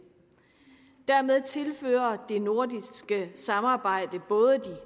dermed tilfører det nordiske samarbejde både de